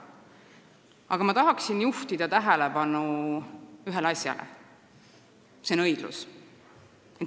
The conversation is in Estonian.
Aga ma tahan juhtida tähelepanu ühele asjale: see on õiglus.